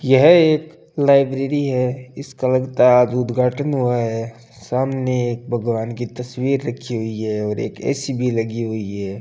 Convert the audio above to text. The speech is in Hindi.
यह एक लाइब्रेरी है इसका लगता है आज उद्घाटन हुआ है सामने एक भगवान की तस्वीर रखी हुई है और एक ए_सी भी लगी हुई है।